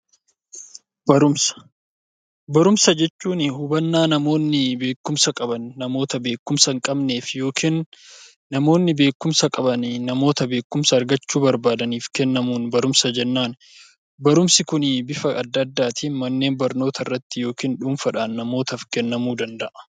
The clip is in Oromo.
Barumsa jechuun hubannaa namoonni beekkumsa qaban namoota beekkumsa hin qabneef yoo kennu namoonni beekkumsa qaban namoota beekkumsa argachuu barbaaduuf kennamu beekkumsa jennani. Barnoonni Kun bifa garagaraatin mana barumsaa fi dhuunfan kennamuu danda'a.